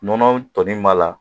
Nɔnɔ tɔnin min b'a la